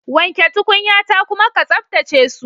Wanke tukunyata kuma ke tsaftace su.